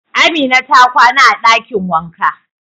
Amina ta kwana a dakin wanka.